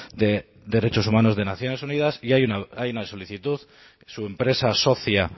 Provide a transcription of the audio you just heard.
de derechos humanos de naciones unidas y hay una solicitud su empresa socia